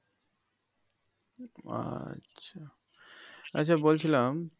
ও আচ্ছা আচ্ছা বলছিলাম